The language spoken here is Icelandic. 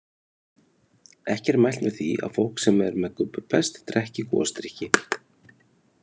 Ekki er mælt með því að fólk sem er með gubbupest drekki gosdrykki.